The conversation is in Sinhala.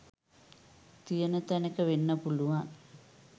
තියන තැනක වෙන්න පුළුවන්